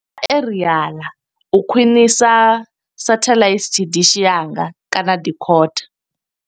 Aerial, u khwiṋisa satellite dishi yanga kana decoder.